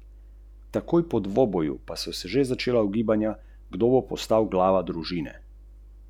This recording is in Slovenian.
S prstom gre po vrsticah.